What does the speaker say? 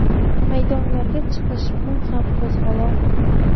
Maydonlarga chiqish bu ham qo‘zg‘olon.